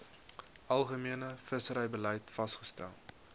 algemene visserybeleid vasgestel